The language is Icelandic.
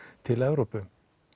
til Evrópu